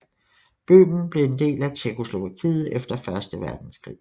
Bøhmen blev en del af Tjekkoslovakiet efter første verdenskrig